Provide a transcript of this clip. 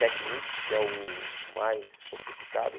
Technics, que é o mais sofisticado.